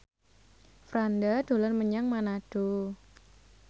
Franda dolan menyang Manado